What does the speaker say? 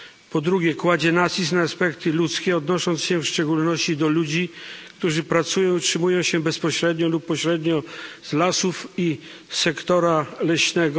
Po drugie, kładzie nacisk na aspekty ludzkie, odnosząc się w szczególności do ludzi, którzy pracują, utrzymują się bezpośrednio lub pośrednio z lasów i sektora leśnego.